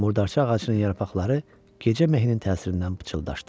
Murdarça ağacının yarpaqları gecə mehin təsirindən pıçıldaşdı.